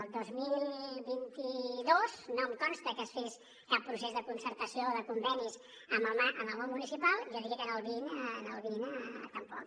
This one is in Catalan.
el dos mil vint dos no em consta que es fes cap procés de concertació de convenis amb el món municipal jo diria que el vint tampoc